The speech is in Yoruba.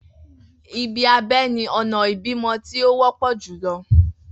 Ibi abẹ ni ọna ibimọ ti o wọpọ julọ.